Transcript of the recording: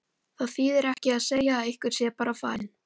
Það þýðir ekki að segja að einhver sé bara farinn.